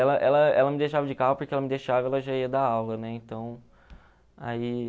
Ela ela ela me deixava de carro, porque ela me deixava ela já ia dar aula, né? Então, aí...